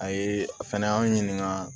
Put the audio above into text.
A ye a fɛnɛ y'an ɲininka